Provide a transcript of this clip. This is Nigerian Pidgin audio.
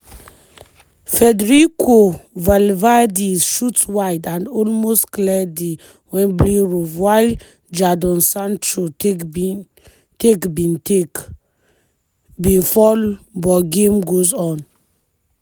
federico valverde shoot wide and almost clear di wembley roof while jadon sancho take bin take bin fall bu game goes on.